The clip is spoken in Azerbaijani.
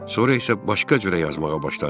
Sonra isə başqa cürə yazmağa başladı.